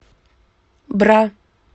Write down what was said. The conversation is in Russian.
бра